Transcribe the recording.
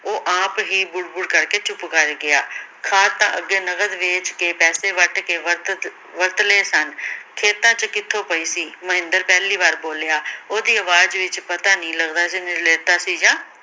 ਉਹ ਆਪ ਹੀ ਬੁੜ ਬੁੜ ਕਰ ਕੇ ਚੁੱਪ ਕਰ ਗਿਆ, ਖਾਦ ਤਾਂ ਅੱਗੇ ਨਕਦ ਵੇਚ ਕੇ ਪੈਸੇ ਵੱਟ ਕੇ ਵਰਤ ਸਨ ਖੇਤਾਂ ਚ ਕਿਥੋਂ ਪਈ ਸੀ ਮਹਿੰਦਰ ਪਹਿਲੀ ਵਾਰ ਬੋਲਿਆ ਓਹਦੀ ਅਵਾਜ ਵਿਚ ਪਤਾ ਨਹੀਂ ਲੱਗਦਾ ਸੀ ਨਿਰਲੇਪਤਾ ਸੀ ਜਾਂ